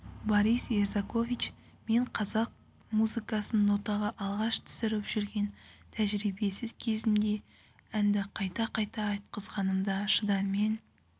борис ерзакович мен қазақ музыкасын нотаға алғаш түсіріп жүрген тәжірибесіз кезімде әнді қайта-қайта айтқызғанымда шыдаммен